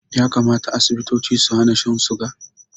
Ya kamata Asibitoci su hana shan suga